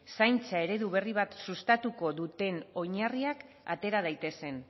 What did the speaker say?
zaintza eredu berri bat sustatuko duten oinarriak atera daitezen